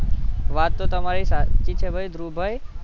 વાત તો તમારી સાચી ભૈ ધ્રુવભાઈ